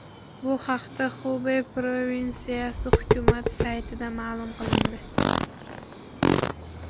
Bu haqda Xubey provinsiyasi hukumati saytida ma’lum qilindi.